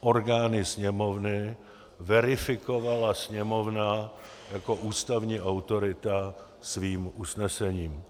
orgány Sněmovny, verifikovala Sněmovna jako ústavní autorita svým usnesením.